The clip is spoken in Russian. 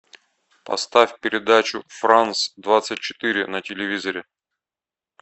поставь передачу франс двадцать четыре на телевизоре